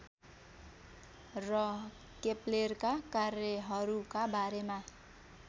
र केप्लेरका कार्यहरूका बारेमा